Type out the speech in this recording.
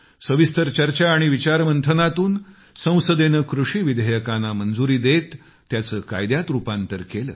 सविस्तर चर्चा आणि विचारमंथनातून संसदेने कृषी विधेयकांना मंजुरी देत त्याचे कायद्यात रुपांतर केले